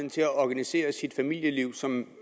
til at organisere sit familieliv som